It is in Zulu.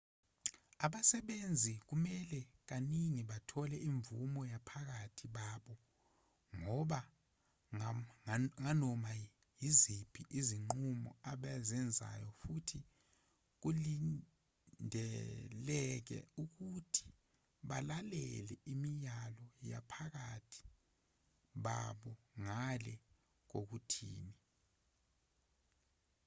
abasebenzi kumele kaningi bathole imvume yabaphathi babo nganoma yiziphi izinqumo ebazenzayo futhi kulindeleke ukuthi balalele imiyalo yabaphathi babo ngale kokuthini